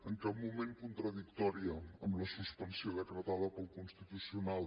en cap moment contradictòria amb la suspensió decretada pel constitucional